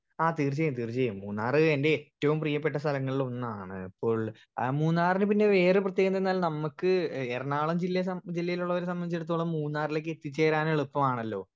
speaker 1 ആ തീർച്ചായും തീർച്ചായും മൂന്നാർ എൻ്റെ ഏറ്റവും പ്രിയപ്പെട്ട സ്ഥലങ്ങളിൽ ഒന്നാണ് ഇപ്പോൾ ആ മൂന്നാറിന് പിന്നെ വേറെ പ്രേതകതെന്നാൽ നമ്മക്ക് എറണാകുളം ജില്ലേ സം ജില്ലയിലുള്ളവരെ സംബതിച്ചടത്തോളം മൂന്നാറില്ലേക്ക് എത്തിച്ചേരാൻ എളുപാണലോ